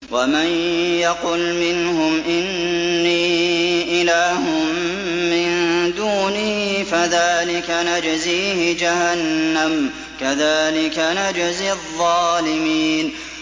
۞ وَمَن يَقُلْ مِنْهُمْ إِنِّي إِلَٰهٌ مِّن دُونِهِ فَذَٰلِكَ نَجْزِيهِ جَهَنَّمَ ۚ كَذَٰلِكَ نَجْزِي الظَّالِمِينَ